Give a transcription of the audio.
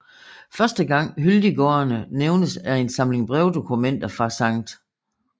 Første gang Hyldiggårdene nævnes er i en samling brevdokumenter fra Skt